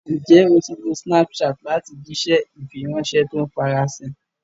Ǹjẹ́ o ti lo Snapchat láti jíṣẹ́ ìfiránṣẹ́ to ń farasin?